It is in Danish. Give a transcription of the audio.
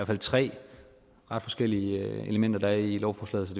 fald tre ret forskellige elementer der er i lovforslaget så